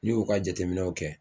N'i y'u ka jateminɛw kɛ